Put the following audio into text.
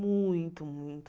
Muito, muito.